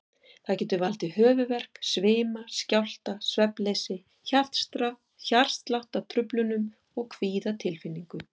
Það getur valdið höfuðverk, svima, skjálfta, svefnleysi, hjartsláttartruflunum og kvíðatilfinningu.